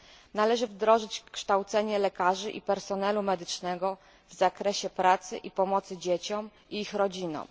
Należy wdrożyć kształcenie lekarzy i personelu medycznego w zakresie pracy i pomocy dzieciom i ich rodzinom.